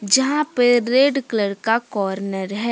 जहां पे red colour का कॉर्नर है।